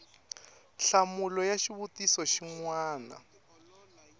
nhlamulo ya xivutiso xin wana